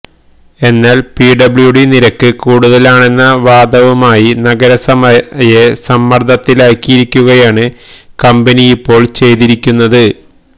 എന്നാല് പിഡബ്ല്യുഡി നിരക്ക് കൂടുതലാണെന്ന വാദവുമായി നഗരസഭയെ സമ്മര്ദത്തിലാക്കിയിരിക്കുകയാണ് കമ്പനിയിപ്പോള് ചെയ്തിരിക്കുന്നത്